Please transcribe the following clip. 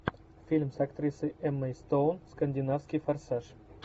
фильм с актрисой эммой стоун скандинавский форсаж